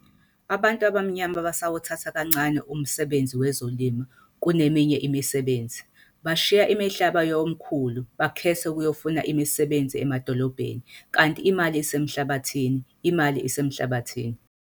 Abantu abamnyama basawuthatha kancane umsebenzi wezolimo kuneminye imisebenzi, bashiya imihlaba yomkhulu bekhethe ukuyofuna imisebenzi emadolobheni kanti imali isemhlabathini imali isemhlabathini.